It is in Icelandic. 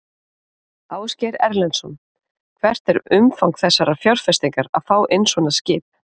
Ásgeir Erlendsson: Hvert er umfang þessarar fjárfestingar að fá inn svona skip?